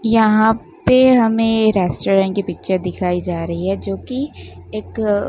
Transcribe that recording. यहां पे हमें रेस्टोरेंट की पिक्चर दिखाई जा रही है जो कि एक--